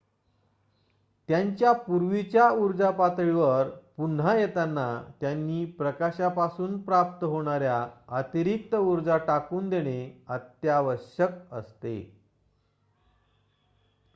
त्यांच्या पूर्वीच्या ऊर्जा पातळीवर पुन्हा येताना त्यांनी प्रकाशापासून प्राप्त होणार्‍या अतिरिक्त ऊर्जा टाकून देणे अत्यावश्यक असते